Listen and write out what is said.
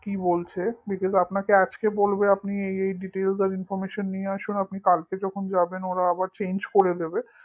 কি বলছে because আপনাকে আজকে বলবে আপনি এই এই details আর information নিয়ে আসুন আপনি কালকে যখন যাবেন পরে আবার change করে দেবে